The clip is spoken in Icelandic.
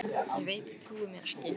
Ég veit þið trúið mér ekki.